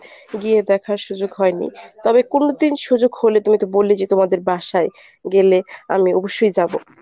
গিয়ে দেখার সুযোগ হয় নি তবে কুনুদিন সুযোগ হলে তুমি তো বললে যে তোমাদের বাসায় গেলে আমি অবশ্যই যাব।